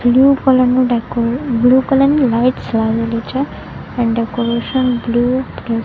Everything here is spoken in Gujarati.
બ્લુ કલર નું દેકો બ્લુ કલર ની લાઈટ્સ લાગેલી છે એન્ડ ડેકોરેશન બ્લુ --